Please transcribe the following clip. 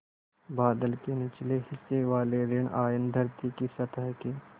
बादल के निचले हिस्से वाले ॠण आयन धरती की सतह के